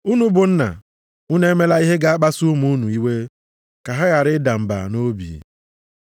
Unu bụ nna, unu emela ihe ga-akpasu ụmụ unu iwe, ka ha ghara ịda mba nʼobi.